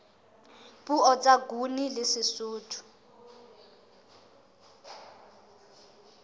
puo tsa nguni le sesotho